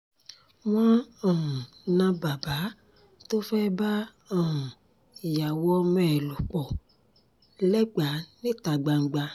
wọ́n um na bàbá tó fẹ́ẹ́ bá um ìyàwó ọmọ ẹ̀ lò pọ̀ lẹ́gba níta gbangba